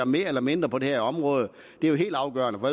mere eller mindre på det her område det er jo helt afgørende for